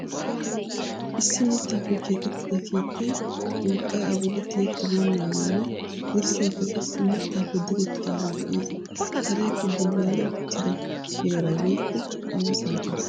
Issi mittappe keexettida keettaay urqqay a bolli tiyettibenaagene dirssaykka qassi miittappe direttidage de'ees. Karekka bullaali uttida heera woykko awa saatiyaa.